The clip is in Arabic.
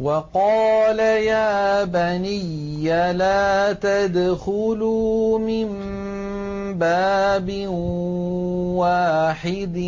وَقَالَ يَا بَنِيَّ لَا تَدْخُلُوا مِن بَابٍ وَاحِدٍ